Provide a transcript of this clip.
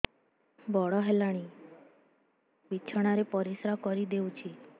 ବଡ଼ ହେଲାଣି ବିଛଣା ରେ ପରିସ୍ରା କରିଦେଉଛି